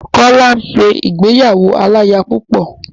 Kọ́lá ń ṣe ìgbéyàwó aláya púpọ̀.